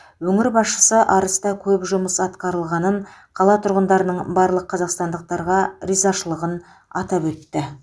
өңір басшысы арыста көп жұмыс атқарылғанын қала тұрғындарының барлық қазақстандықтарға ризашылығын атап өтті